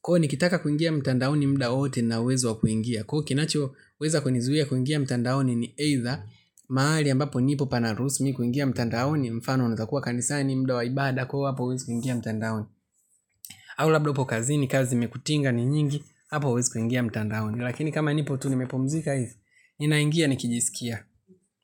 kwa hivyo nikitaka kuingia mtandaoni muda wowote nina uwezo wa kuingia kwa hivyo kinachoweza kunizuia kuingia mtandaoni ni aidha mahali ambapo nipo haparuhusu mimi kuingia mtandaoni mfano unaweza kuwa kanisani muda wa ibaada kwa hivyo hapo hauwezi kuingia mtandaoni. Au labda upo kazini kazi imekutinga ni nyingi, hapo hauwezi kuingia mtandaoni, lakini kama nipo tu nimepumzika hivi, ninaingia nikijisikia.